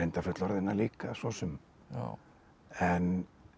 fullorðinna líka svo sem en